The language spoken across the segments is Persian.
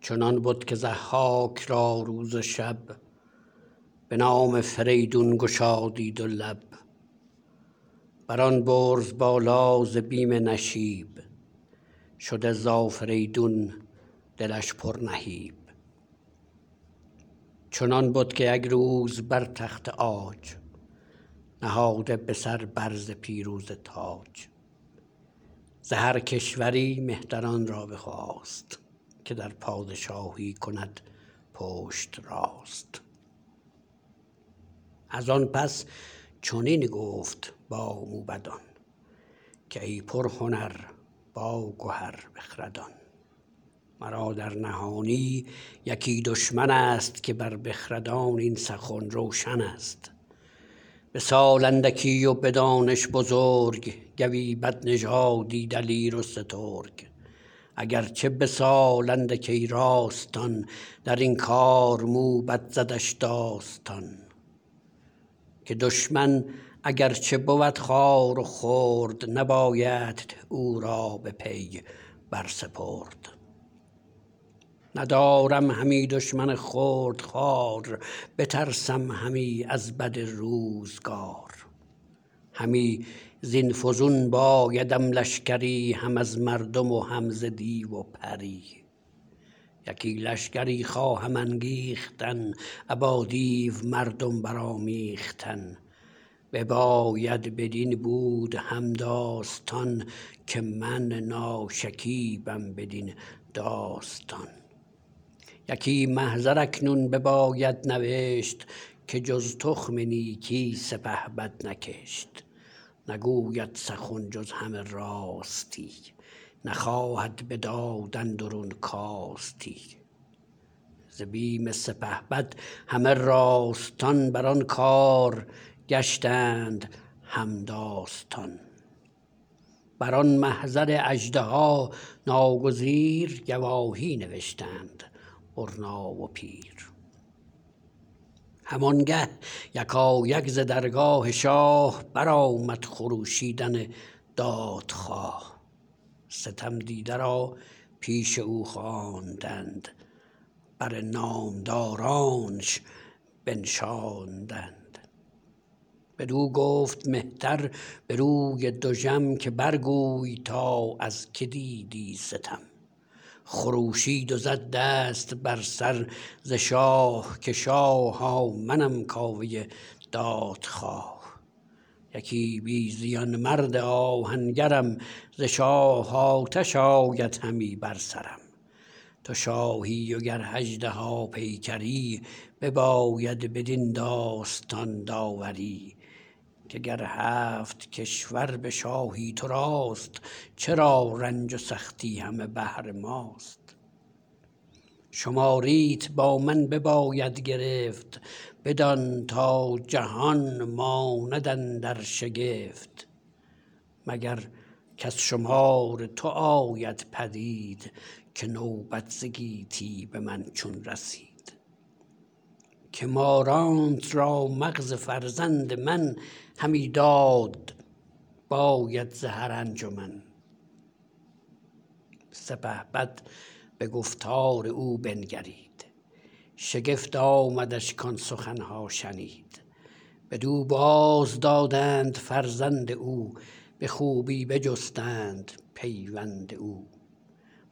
چنان بد که ضحاک را روز و شب به نام فریدون گشادی دو لب بر آن برز بالا ز بیم نشیب شده ز آفریدون دلش پر نهیب چنان بد که یک روز بر تخت عاج نهاده به سر بر ز پیروزه تاج ز هر کشوری مهتران را بخواست که در پادشاهی کند پشت راست از آن پس چنین گفت با موبدان که ای پرهنر باگهر بخردان مرا در نهانی یکی دشمن ست که بر بخردان این سخن روشن است به سال اندکی و به دانش بزرگ گوی بدنژادی دلیر و سترگ اگر چه به سال اندک ای راستان درین کار موبد زدش داستان که دشمن اگر چه بود خوار و خرد نبایدت او را به پی بر سپرد ندارم همی دشمن خرد خوار بترسم همی از بد روزگار همی زین فزون بایدم لشکری هم از مردم و هم ز دیو و پری یکی لشگری خواهم انگیختن ابا دیو مردم برآمیختن بباید بدین بود هم داستان که من ناشکیبم بدین داستان یکی محضر اکنون بباید نوشت که جز تخم نیکی سپهبد نکشت نگوید سخن جز همه راستی نخواهد به داد اندرون کاستی ز بیم سپهبد همه راستان بر آن کار گشتند هم داستان بر آن محضر اژدها ناگزیر گواهی نوشتند برنا و پیر هم آنگه یکایک ز درگاه شاه برآمد خروشیدن دادخواه ستم دیده را پیش او خواندند بر نامدارانش بنشاندند بدو گفت مهتر به روی دژم که بر گوی تا از که دیدی ستم خروشید و زد دست بر سر ز شاه که شاها منم کاوه دادخواه یکی بی زیان مرد آهنگرم ز شاه آتش آید همی بر سرم تو شاهی و گر اژدها پیکری بباید بدین داستان داوری که گر هفت کشور به شاهی تو راست چرا رنج و سختی همه بهر ماست شماریت با من بباید گرفت بدان تا جهان ماند اندر شگفت مگر کز شمار تو آید پدید که نوبت ز گیتی به من چون رسید که مارانت را مغز فرزند من همی داد باید ز هر انجمن سپهبد به گفتار او بنگرید شگفت آمدش کآن سخن ها شنید بدو باز دادند فرزند او به خوبی بجستند پیوند او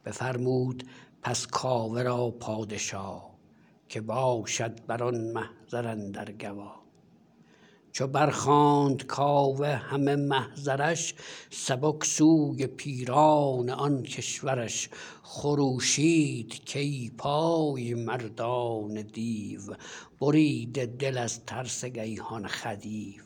بفرمود پس کاوه را پادشا که باشد بران محضر اندر گوا چو بر خواند کاوه همه محضرش سبک سوی پیران آن کشورش خروشید کای پای مردان دیو بریده دل از ترس گیهان خدیو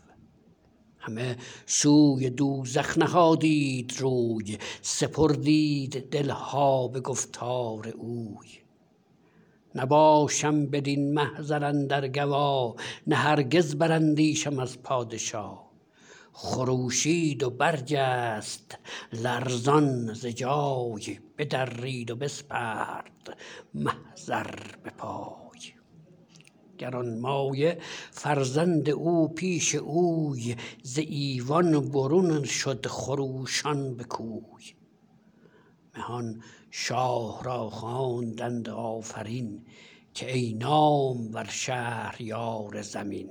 همه سوی دوزخ نهادید روی سپردید دل ها به گفتار اوی نباشم بدین محضر اندر گوا نه هرگز براندیشم از پادشا خروشید و برجست لرزان ز جای بدرید و بسپرد محضر به پای گرانمایه فرزند او پیش اوی ز ایوان برون شد خروشان به کوی مهان شاه را خواندند آفرین که ای نامور شهریار زمین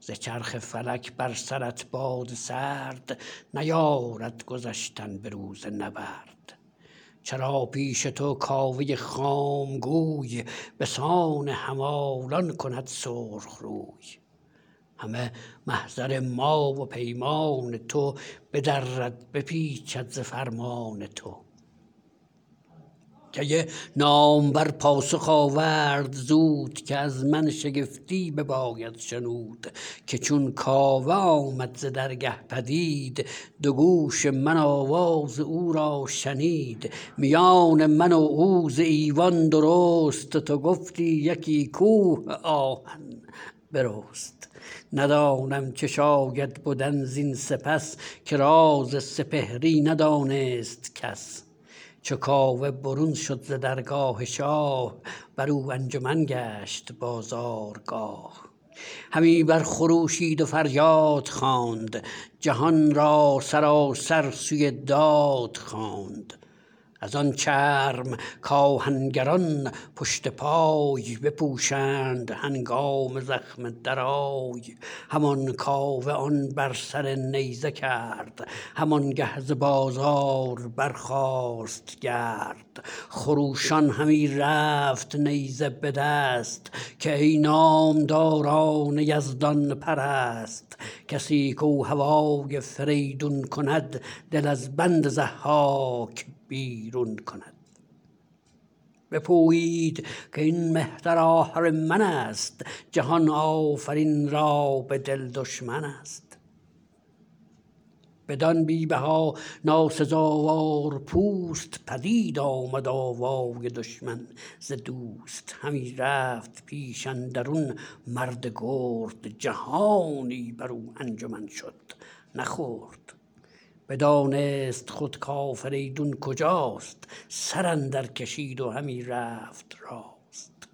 ز چرخ فلک بر سرت باد سرد نیارد گذشتن به روز نبرد چرا پیش تو کاوه خام گوی به سان همالان کند سرخ روی همه محضر ما و پیمان تو بدرد بپیچد ز فرمان تو کی نامور پاسخ آورد زود که از من شگفتی بباید شنود که چون کاوه آمد ز درگه پدید دو گوش من آواز او را شنید میان من و او ز ایوان درست تو گفتی یکی کوه آهن برست ندانم چه شاید بدن زین سپس که راز سپهری ندانست کس چو کاوه برون شد ز درگاه شاه برو انجمن گشت بازارگاه همی بر خروشید و فریاد خواند جهان را سراسر سوی داد خواند از آن چرم کآهنگران پشت پای بپوشند هنگام زخم درای همان کاوه آن بر سر نیزه کرد همان گه ز بازار برخاست گرد خروشان همی رفت نیزه به دست که ای نامداران یزدان پرست کسی کاو هوای فریدون کند دل از بند ضحاک بیرون کند بپویید کاین مهتر آهرمن است جهان آفرین را به دل دشمن است بدان بی بها ناسزاوار پوست پدید آمد آوای دشمن ز دوست همی رفت پیش اندرون مرد گرد جهانی برو انجمن شد نه خرد بدانست خود کافریدون کجاست سر اندر کشید و همی رفت راست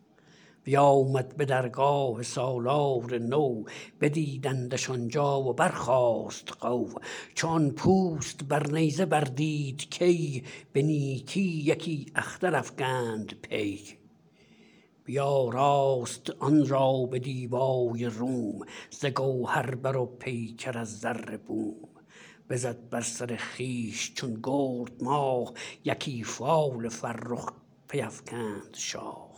بیامد به درگاه سالار نو بدیدندش آن جا و برخاست غو چو آن پوست بر نیزه بر دید کی به نیکی یکی اختر افگند پی بیاراست آن را به دیبای روم ز گوهر بر و پیکر از زر بوم بزد بر سر خویش چون گرد ماه یکی فال فرخ پی افکند شاه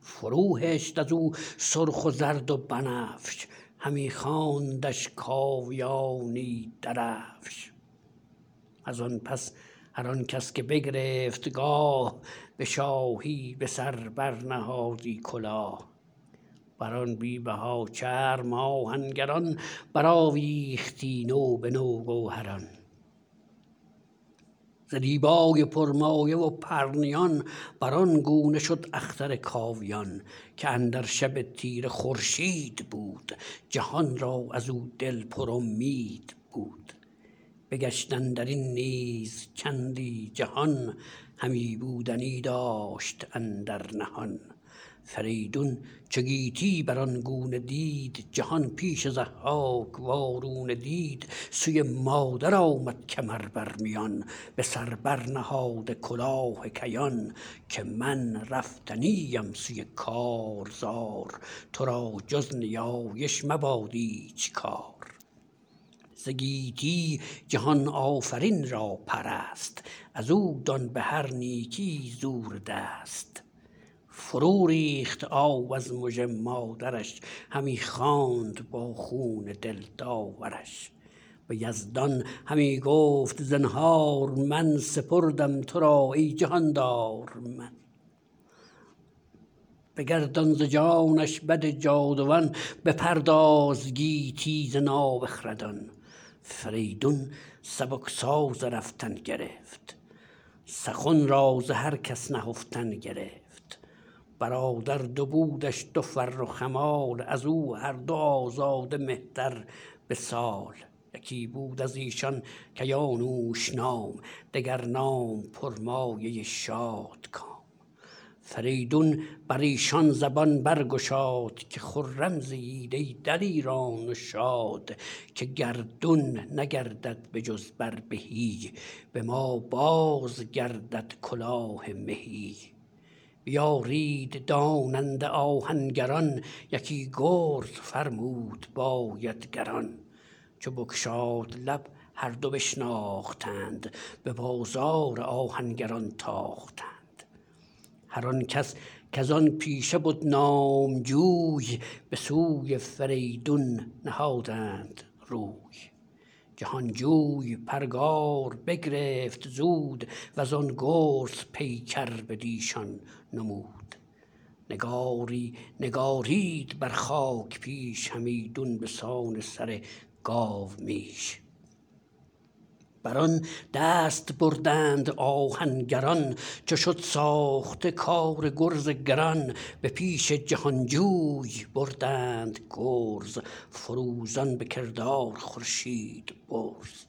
فرو هشت ازو سرخ و زرد و بنفش همی خواندش کاویانی درفش از آن پس هر آن کس که بگرفت گاه به شاهی به سر بر نهادی کلاه بر آن بی بها چرم آهنگران برآویختی نو به نو گوهران ز دیبای پرمایه و پرنیان بر آن گونه شد اختر کاویان که اندر شب تیره خورشید بود جهان را ازو دل پر امید بود بگشت اندرین نیز چندی جهان همی بودنی داشت اندر نهان فریدون چو گیتی بر آن گونه دید جهان پیش ضحاک وارونه دید سوی مادر آمد کمر بر میان به سر بر نهاده کلاه کیان که من رفتنی ام سوی کارزار تو را جز نیایش مباد ایچ کار ز گیتی جهان آفرین را پرست ازو دان بهر نیکی زور دست فرو ریخت آب از مژه مادرش همی خواند با خون دل داورش به یزدان همی گفت زنهار من سپردم تو را ای جهاندار من بگردان ز جانش بد جاودان بپرداز گیتی ز نابخردان فریدون سبک ساز رفتن گرفت سخن را ز هر کس نهفتن گرفت برادر دو بودش دو فرخ همال ازو هر دو آزاده مهتر به سال یکی بود ازیشان کیانوش نام دگر نام پرمایه شادکام فریدون بریشان زبان برگشاد که خرم زیید ای دلیران و شاد که گردون نگردد به جز بر بهی به ما بازگردد کلاه مهی بیارید داننده آهنگران یکی گرز فرمود باید گران چو بگشاد لب هر دو بشتافتند به بازار آهنگران تاختند هر آن کس کز آن پیشه بد نام جوی به سوی فریدون نهادند روی جهان جوی پرگار بگرفت زود وزان گرز پیکر بٕدیشان نمود نگاری نگارید بر خاک پیش همیدون به سان سر گاومیش بر آن دست بردند آهنگران چو شد ساخته کار گرز گران به پیش جهان جوی بردند گرز فروزان به کردار خورشید برز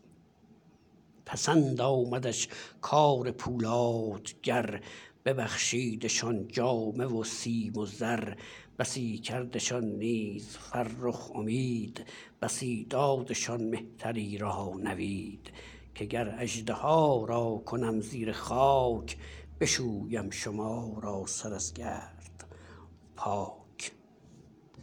پسند آمدش کار پولادگر ببخشیدشان جامه و سیم و زر بسی کردشان نیز فرخ امید بسی دادشان مهتری را نوید که گر اژدها را کنم زیر خاک بشویم شما را سر از گرد پاک